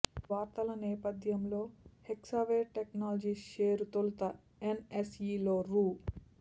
ఈ వార్తల నేపథ్యంలో హెక్సావేర్ టెక్నాలజీస్ షేరు తొలుత ఎన్ఎస్ఈలో రూ